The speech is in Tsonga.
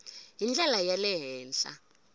hi ndlela ya le henhla